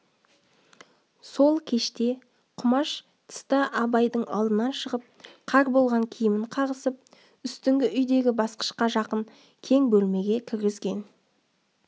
сол кеште құмаш тыста абайдың алдынан шығып қар болған киімін қағысып үстіңгі үйдегі басқышқа жақын кең бөлмеге кіргізген